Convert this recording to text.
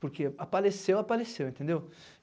Porque apareceu, apareceu, entendeu?